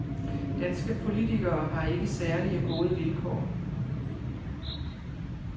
Danske politikere har ikke særlig gode vilkår.